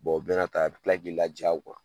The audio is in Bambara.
o bɛna ta a bila k'i laja